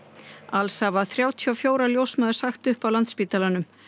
alls hafa þrjátíu og fjórar ljósmæður sagt upp á Landspítalanum